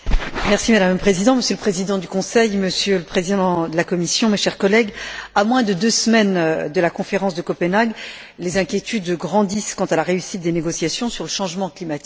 Madame la Présidente, Monsieur le Président du Conseil, Monsieur le Président de la Commission, mes chers collègues, à moins de deux semaines de la conférence de Copenhague, les inquiétudes grandissent quant à la réussite des négociations sur le changement climatique.